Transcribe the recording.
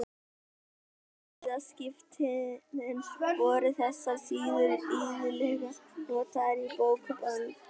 Eftir siðaskiptin voru þessar síður iðulega notaðar í bókband.